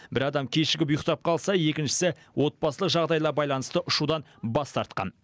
бір адам кешігіп ұйықтап қалса екіншісі отбасылық жағдайына байланысты ұшудан бас тартқан